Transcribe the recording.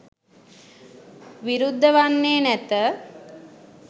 විරුද්ධ වන්නේ නැත